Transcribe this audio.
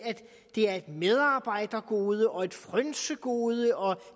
det er et medarbejdergode og et frynsegode og